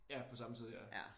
Ja på samme tid ja